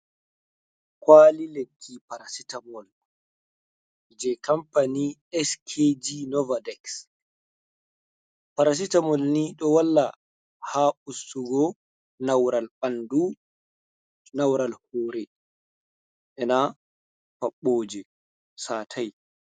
Kwali lekki parasita mole je kamfani skg nover daks, parasita molni ɗo walla ha ustugo naural ɓanɗu, naural hore, ena paɓoje satai.